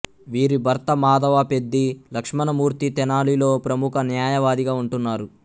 వీరి భర్త మాధవపెద్ది లక్ష్మణమూర్తి తెనాలిలో ప్రముఖ న్యాయవాదిగా ఉంటున్నారు